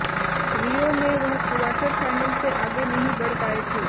रियो में वह quarter final से आगे नहीं बढ़ पाये थे